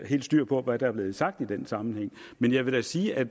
helt styr på hvad der blev sagt i den sammenhæng men jeg vil da sige at